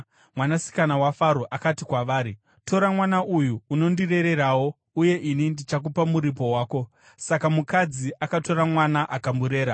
Mwanasikana waFaro akati kwavari, “Tora mwana uyu unondirererawo, uye ini ndichakupa muripo wako.” Saka mukadzi akatora mwana akamurera.